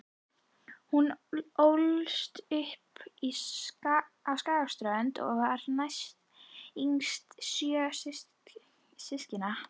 Hún ólst upp á Skagaströnd og var næstyngst sjö systkina.